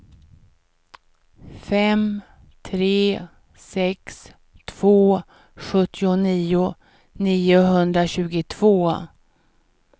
fem tre sex två sjuttionio niohundratjugotvå